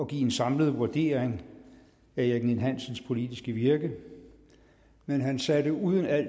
give en samlet vurdering af erik ninn hansens politiske virke men han satte uden al